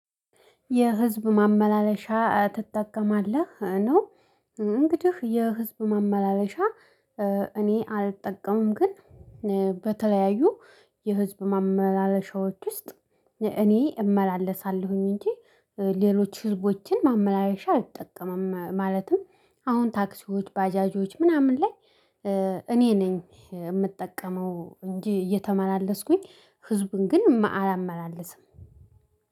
የህዝብ ማመላለሻ ትጠቀማለህ? ነው እንግዲህ የህዝብ ማመላለሻ እጠቀማለሁ። እኔ አልጠቀምም። ግን በተለያዩ የህዝብ ማመላለሻዎች ውስጥ እኔ እመላለሳለሁኝ። እንጂ ሌሎች ህዝቦችን ማመላለሻ አልጠቀምም። ማለትም አሁን ታክሲዎ፣ ባጃጂዎች ምናምን ላይ እኔ ነኝ የምጠቀመው እንጂ እየተመላለስኩኝ ህዝቡን ግን አላመላልስም።